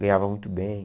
Ganhava muito bem.